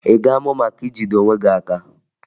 Ị ga-amụ maka ijide onwe gị aka?